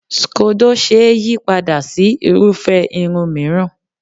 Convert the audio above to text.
Scodo ṣe é yí padà sí irúfé irun mìíràn.